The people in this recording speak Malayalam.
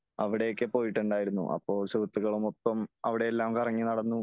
അവിടയൊക്കെ പോയിട്ടുണ്ടായിരുന്നു . അപ്പോ സുഹൃത്തുക്കളുമൊപ്പം അവിടെയെല്ലാം കറങ്ങി നടന്നു .